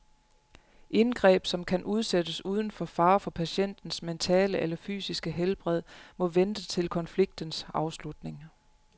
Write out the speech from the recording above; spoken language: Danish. Indgreb, som kan udsættes uden fare for patientens mentale eller fysiske helbred, må vente til konfliktens afslutning.